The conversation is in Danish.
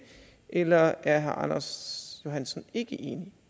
eller er herre anders johansson ikke enig